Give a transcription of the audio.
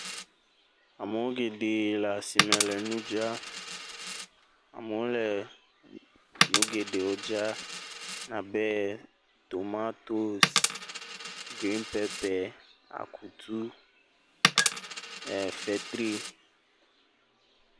Amewo geɖe le asi me le nu dzram. Amewo le nu geɖewo dzram abe tomotosi, grin pɛpɛ, akutu, ee fetri.